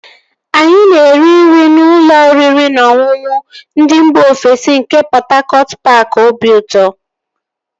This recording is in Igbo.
Anyị na-eri nri na ụlọ oriri na ọṅụṅụ ndị mba ofesi nke Pọt Hakọt paaki obiụtọ